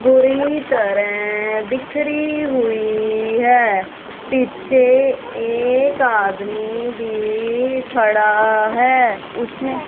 बुरी तरह बिखरी हुई है पीछे एक आदमी भी खड़ा है उसने--